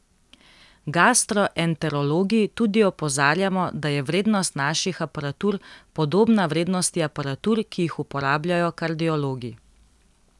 Gastroenterologi tudi opozarjamo, da je vrednost naših aparatur podobna vrednosti aparatur, ki jih uporabljajo kardiologi.